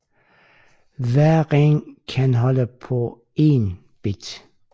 Hver ring kan holde på én bit